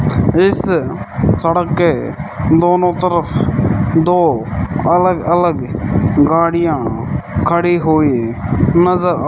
इस सड़क के दोनों तरफ दो अलग अलग गाड़ियां खड़ी हुई नजर आ--